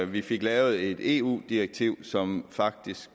vi fik lavet et eu direktiv som faktisk